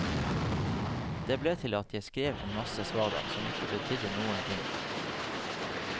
Det ble til at jeg skrev en masse svada som ikke betydde noen ting.